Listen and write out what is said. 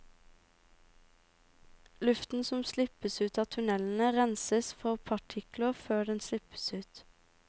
Luften som slippes ut av tunnelene, renses for partikler før den slippes ut.